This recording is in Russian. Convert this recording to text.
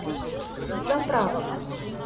с заправок